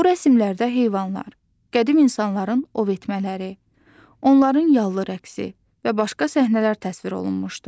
Bu rəsmlərdə heyvanlar, qədim insanların ov etmələri, onların yallı rəqsi və başqa səhnələr təsvir olunmuşdu.